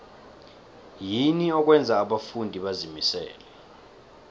yini okwenza abafundi bazimisele